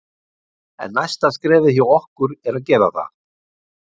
En næsta skrefið hjá okkur er að gera það.